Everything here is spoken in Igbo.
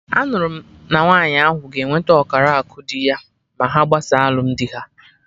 Anụrụ m na nwaanyị ahụ ga enwete ọkara akụ dị ya ma ha gbasaa alụmdi ha